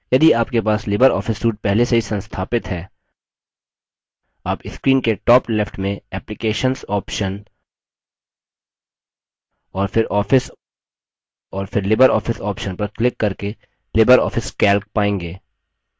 यदि आपके पास लिबर office suite पहले से ही संस्थापित है आप screen के top left में applications option और फिर office और फिर libreoffice option पर क्लिक करके लिबर office calc पायेंगे